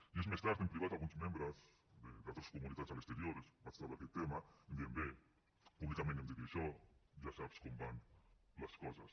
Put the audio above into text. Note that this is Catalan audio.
dies més tard en privat a alguns membres d’altres comunitats a l’exterior els vaig treure aquest tema em deien bé públicament hem dit això ja saps com van les coses